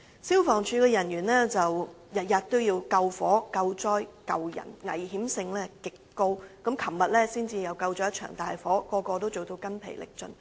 消防處人員天天都要救火、救災、救人，工作的危險性極高，昨天才撲滅了一場大火，人人都做到筋疲力盡。